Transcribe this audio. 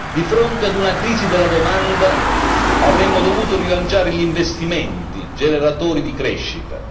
Di fronte ad una crisi della domanda avremmo dovuto rilanciare gli investimenti, generatori di crescita.